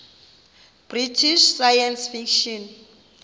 british science fiction